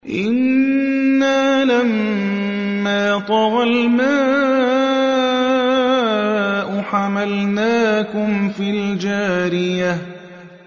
إِنَّا لَمَّا طَغَى الْمَاءُ حَمَلْنَاكُمْ فِي الْجَارِيَةِ